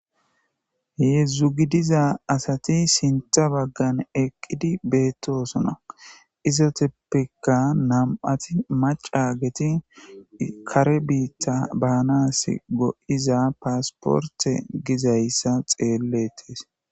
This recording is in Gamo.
Heezhzhu giddiza asati sinththa baggan eqqidi bettossona izettappeka nam'ati maccaa giddin kaare biita banasi goiiza passiporte giizayssa xelletes.